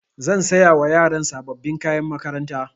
Zan saya wa yaran sababbin kayan makaranta.